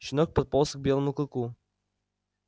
щенок подполз к белому клыку